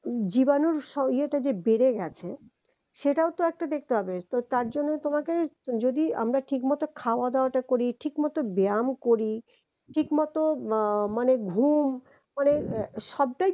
জীবানুর ইয়েটা যে বেড়ে গেছে সেটাও তো একটা দেখতে হবে তো তার জন্য তোমাকে যদি আমরা ঠিকমত খাওয়া দাওয়াটা করি, ঠিক মত ব্যায়াম করি ঠিক মত আহ মানে ঘুম মানে আহ সবটাই